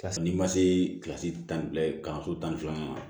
Ka sɔrɔ n'i ma se kilasi tan ni fila ye kalanso tan filanan na